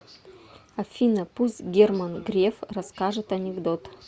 афина пусть герман греф расскажет анекдот